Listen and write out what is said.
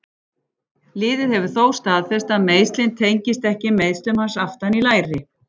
Liðið hefur þó staðfest að meiðslin tengist ekki meiðslum hans aftan í læri.